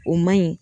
O man ɲi